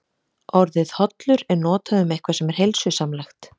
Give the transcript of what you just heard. Orðið hollur er notað um eitthvað sem er heilsusamlegt.